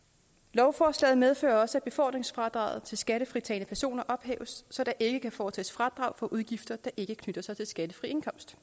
lovforslaget medfører også at befordringsfradraget til skattefritagne personer ophæves så der ikke kan foretages fradrag for udgifter der ikke knytter sig til skattefri indkomst